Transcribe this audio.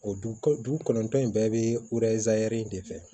O du dugu kɔnɔntɔn in bɛɛ bɛ de fɛ